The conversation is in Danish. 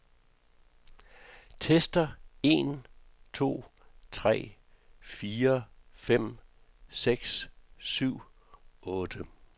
Tester en to tre fire fem seks syv otte.